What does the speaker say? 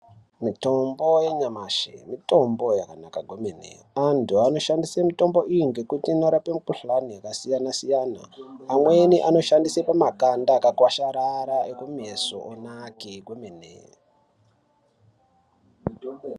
Mitombo yanyamashi mitombo yakanaka kwemene antu anoshandise mitombo iyi ngekuti inorape mukhlani yakasiyana siyana amweni anoshandisa pamakanda akakwasharara ekumeso onake kwemene.